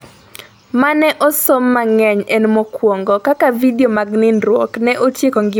mane osom mangeny en mokuongo ,Kaka vidio mag nindruok ne otieko ngima mar nyako